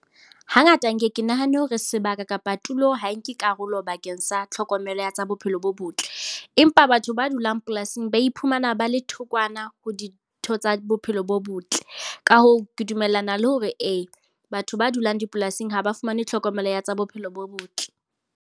Hangata nke ke nahane hore sebaka kapa tulo ha nke karolo bakeng sa tlhokomelo ya tsa bophelo bo botle. Empa batho ba dulang polasing ba iphumana ba le thokwana ho ditho tsa bophelo bo botle. Ka hoo, ke dumellana le hore ee, batho ba dulang dipolasing ha ba fumane tlhokomelo ya tsa bophelo bo botle.